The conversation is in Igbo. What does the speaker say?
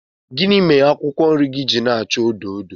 Gịnị mere akwụkwọ nri gị ji na-acha odo odo